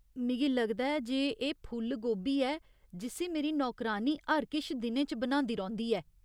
मिगी लगदा ऐ जे एह् फुल्ल गोभी ऐ जिस्सी मेरी नौकरानी हर किश दिनें च बनांदी रौंह्दी ऐ।